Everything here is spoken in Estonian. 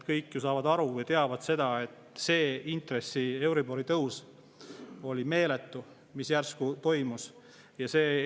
Kõik ju saavad aru ja teavad, et euribori tõus, mis järsku toimus, oli meeletu.